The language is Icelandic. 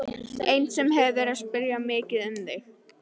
Ein sem hefur verið að spyrja mikið um þig.